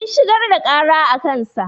Sun shigar da ƙara a kansa.